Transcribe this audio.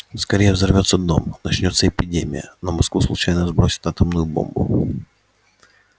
скорее взорвётся дом начнётся эпидемия на москву случайно сбросят атомную бомбу